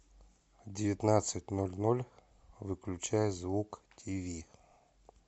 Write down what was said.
в девятнадцать ноль ноль выключай звук тиви